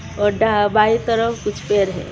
बाएं तरफ कुछ पेड़ है.